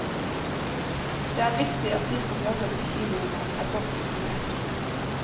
Det er viktig at de som jobber på kinoene, er godt informert.